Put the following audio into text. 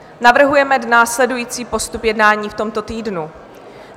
Navrhujeme následující postup jednání v tomto týdnu.